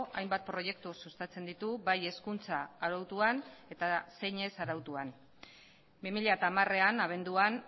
hainbat proiektu sustatzen ditu bai hezkuntza arautuan eta zein ez arautuan bi mila hamarean abenduan